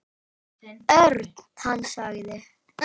Örn. Hann sagði.